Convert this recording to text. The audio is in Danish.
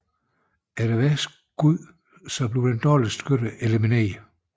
Efter hvert skud bliver dårligste skytte elimineret